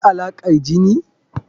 Akwai Alaƙar jini.